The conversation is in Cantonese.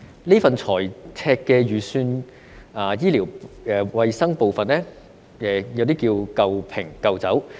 這份財赤預算就醫療衞生的部分，可說是"舊瓶舊酒"。